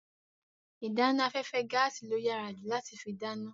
Ìdáná afẹ́fẹ́ gaàsì ló yàrá ju láti fi dáná.